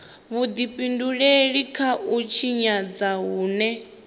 vhudifhinduleli kha u tshinyadzwa hune